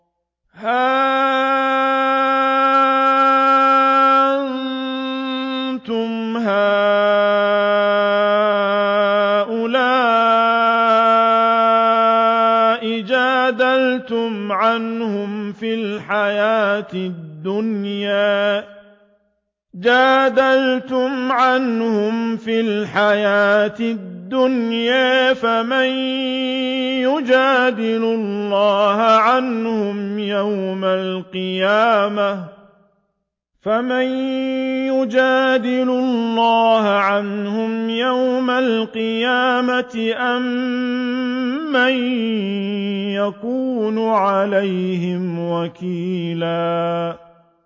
هَا أَنتُمْ هَٰؤُلَاءِ جَادَلْتُمْ عَنْهُمْ فِي الْحَيَاةِ الدُّنْيَا فَمَن يُجَادِلُ اللَّهَ عَنْهُمْ يَوْمَ الْقِيَامَةِ أَم مَّن يَكُونُ عَلَيْهِمْ وَكِيلًا